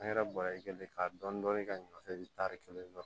An yɛrɛ bɔra yen ka dɔɔni dɔɔni kɛ taari kelen